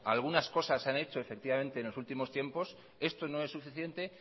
algunas cosas se han hecho efectivamente en los últimos tiempos esto no es suficiente